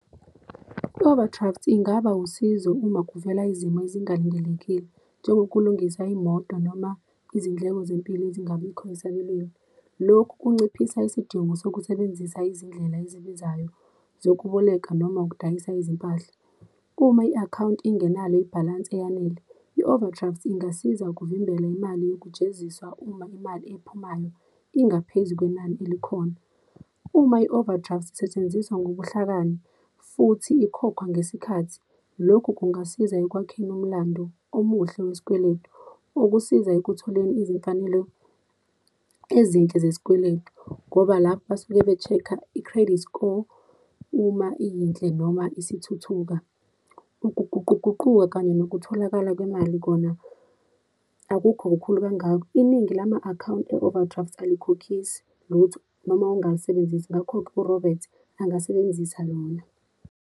I-overdraft ingaba usizo uma kuvela izimo ezingalindelekile, njengokulungisa imoto, noma izindleko zempilo ezingabikho esabelweni. Lokhu kunciphisa isidingo sokusebenzisa izindlela ezibizayo zokuboleka noma ukudayisa izimpahla. Uma i-akhawunti ingenalo ibhalansi eyanele, i-overdraft ingasiza ukuvimbela imali yokujeziswa uma imali ephumayo ingaphezu kwenani elikhona. Uma i-overdraft isetshenziswa ngobuhlakani futhi ikhokhwa ngesikhathi, lokhu kungasiza ekwakheni umlandu omuhle wesikweletu, okusiza ekutholeni izimfanelo ezinhle zesikweletu. Ngoba lapho basuke be-check-a i-credit score, uma iyinhle noma isithuthuka. Ukuguquguquka kanye nokutholakala kwemali kona akukho kukhulu kangako. Iningi lama-akhawunti e-overdraft alikhokhise lutho noma ongalisebenzisi, ngakho-ke uRobert angasebenzisa lona.